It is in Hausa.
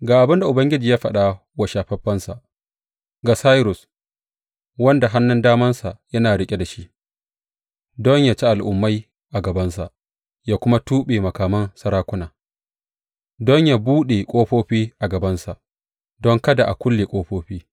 Ga abin da Ubangiji ya faɗa wa shafaffensa, ga Sairus, wanda hannun damansa yana riƙe da shi don yă ci al’ummai a gabansa ya kuma tuɓe makaman sarakuna, don yă buɗe ƙofofi a gabansa don kada a kulle ƙofofi.